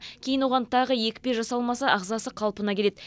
кейін оған тағы екпе жасалмаса ағзасы қалпына келеді